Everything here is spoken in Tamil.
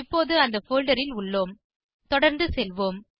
இப்போது அந்த போல்டர் ல் உள்ளோம் தொடர்ந்து செல்வோம்